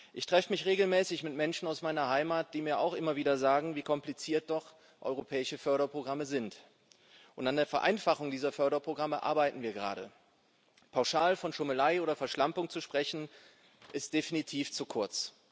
Ich treffe mich regelmäßig mit Menschen aus meiner Heimat, die mir auch immer wieder sagen, wie kompliziert doch europäische Förderprogramme sind, und an der Vereinfachung dieser Förderprogramme arbeiten wir gerade. Pauschal von Schummelei oder Verschlampung zu sprechen, greift definitiv zu kurz.